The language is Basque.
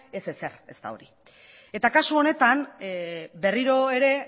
ez ezer ez da hori eta kasu honetan berriro ere